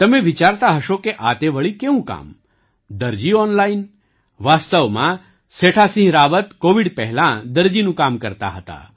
તમે વિચારતા હશો કે આ તે વળી કેવું કામ દરજી ઑનલાઇન વાસ્તવમાં સેઠાસિંહ રાવત કૉવિડ પહેલાં દરજીનું કામ કરતા હતા